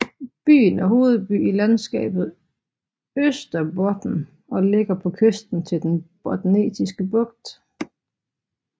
Byen er hovedby i Landskabet Österbotten og ligger på kysten til Den Botniske Bugt